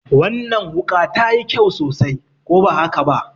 Wannan wuƙa ta yi kyau sosai, ko ba haka ba?